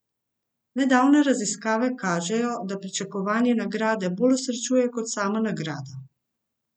Nedavne raziskave kažejo, da pričakovanje nagrade bolj osrečuje kot sama nagrada.